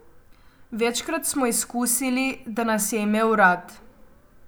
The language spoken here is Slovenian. Večkrat smo izkusili, da nas je imel rad.